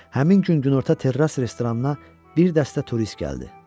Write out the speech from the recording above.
Həmin gün günorta terras restoranına bir dəstə turist gəldi.